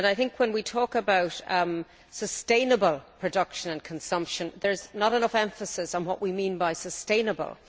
When we talk about sustainable production and consumption, there is not enough emphasis on what we mean by sustainable'.